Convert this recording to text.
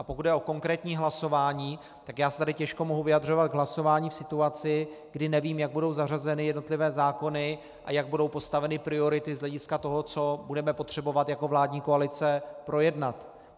A pokud jde o konkrétní hlasování, tak já se tady těžko mohu vyjadřovat k hlasování v situaci, kdy nevím, jak budou zařazeny jednotlivé zákony a jak budou postaveny priority z hlediska toho, co budeme potřebovat jako vládní koalice projednat.